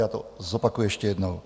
Já to zopakuji ještě jednou.